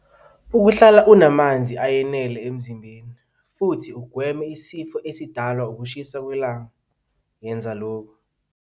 Ukuhlala unamanzi awenele emzimbeni futhi ugweme isifo esidalwa ukushisa kwelanga yenza lokhu.